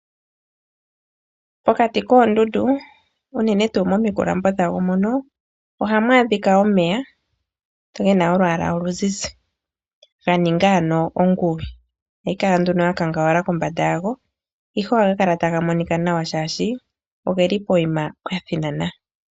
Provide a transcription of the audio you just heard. Pokati koondundu unene tuu momikulambo dhawo mono ohamu adhika omeya ge na olwaala oluzizi ga ninga ano onguwi ohayi kala nduno ya kangawala kombanda yago, ihe ohaga kala taga monika nawa, oshoka oge li pokuma pwa thinana.